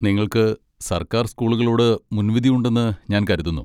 നിങ്ങൾക്ക് സർക്കാർ സ്കൂളുകളോട് മുൻവിധിയുണ്ടെന്ന് ഞാൻ കരുതുന്നു.